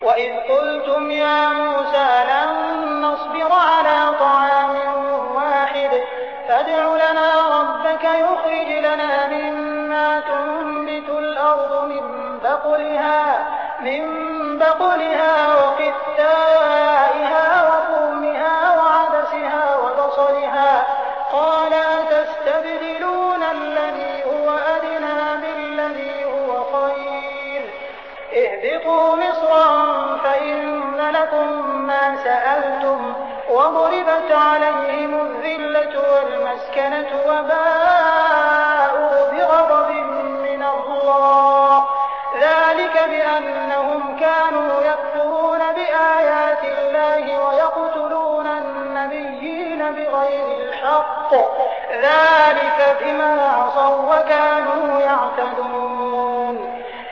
وَإِذْ قُلْتُمْ يَا مُوسَىٰ لَن نَّصْبِرَ عَلَىٰ طَعَامٍ وَاحِدٍ فَادْعُ لَنَا رَبَّكَ يُخْرِجْ لَنَا مِمَّا تُنبِتُ الْأَرْضُ مِن بَقْلِهَا وَقِثَّائِهَا وَفُومِهَا وَعَدَسِهَا وَبَصَلِهَا ۖ قَالَ أَتَسْتَبْدِلُونَ الَّذِي هُوَ أَدْنَىٰ بِالَّذِي هُوَ خَيْرٌ ۚ اهْبِطُوا مِصْرًا فَإِنَّ لَكُم مَّا سَأَلْتُمْ ۗ وَضُرِبَتْ عَلَيْهِمُ الذِّلَّةُ وَالْمَسْكَنَةُ وَبَاءُوا بِغَضَبٍ مِّنَ اللَّهِ ۗ ذَٰلِكَ بِأَنَّهُمْ كَانُوا يَكْفُرُونَ بِآيَاتِ اللَّهِ وَيَقْتُلُونَ النَّبِيِّينَ بِغَيْرِ الْحَقِّ ۗ ذَٰلِكَ بِمَا عَصَوا وَّكَانُوا يَعْتَدُونَ